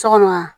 Sɔgɔma